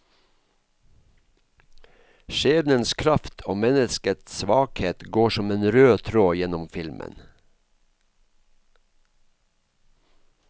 Skjebnens kraft og menneskets svakhet går som en rød tråd gjennom filmen.